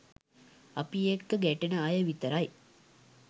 අපි එක්ක ගැටෙන අය විතරයි